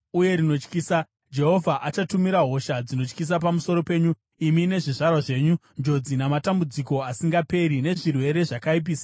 Jehovha achatumira hosha dzinotyisa pamusoro penyu imi nezvizvarwa zvenyu, njodzi namatambudziko asingaperi, nezvirwere zvakaipisisa zvisingaperi.